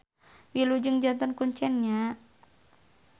Wilujeng janten kuncen nya.